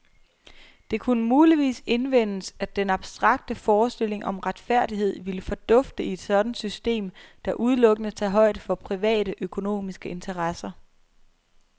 Det kunne muligvis indvendes, at den abstrakte forestilling om retfærdighed ville fordufte i et sådant system, der udelukkende tager højde for private, økonomiske interesser.